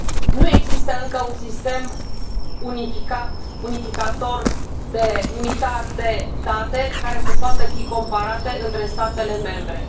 Nu există încă un sistem unificat, unificator, unitar de date care să poată fi comparate între statele membre.